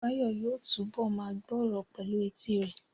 Báyọ̀ yóò túbọ̀ ma gbọ́ ọ̀rọ̀ pẹ̀lú etí rẹ̀